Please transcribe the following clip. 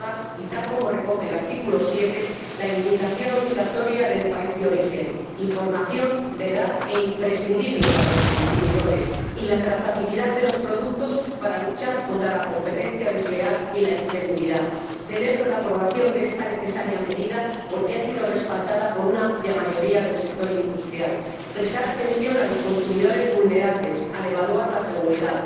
Además, y tal como recoge el artículo 7, la indicación obligatoria del país de origen ―información veraz e imprescindible para los consumidores― y la trazabilidad de los productos permitirá luchar contra la competencia desleal y la inseguridad. Así pues, celebro la aprobación de esta necesaria medida porque ha sido respaldada por una amplia mayoría del sector industrial. Y también hay que prestar atención a los consumidores vulnerables al evaluar la seguridad.